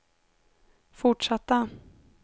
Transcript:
fortsatta